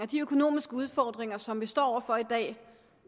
de økonomiske udfordringer som vi står over for i dag